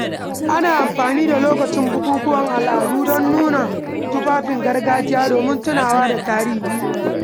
Ana amfani da lokacin bukukuwan al'adu dan nuna tufafin gargajiya domin tunawa da tarihi.